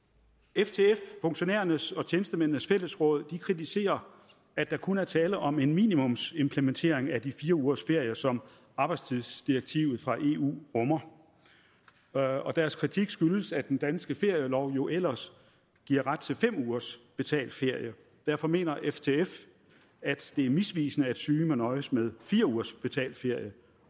ftf funktionærernes og tjenestemændenes fællesråd kritiserer at der kun er tale om en minimumsimplementering af de fire ugers ferie som arbejdstidsdirektivet fra eu rummer og deres kritik skyldes at den danske ferielov jo ellers giver ret til fem ugers betalt ferie derfor mener ftf at det er misvisende at syge må nøjes med fire ugers betalt ferie